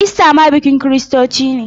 Ista ma bikin kiristoci ne.